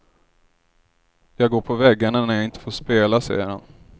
Jag går på väggarna när jag inte får spela, säger han.